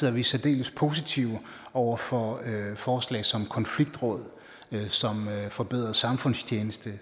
er vi særdeles positive over for forslag som konfliktråd forbedret samfundstjeneste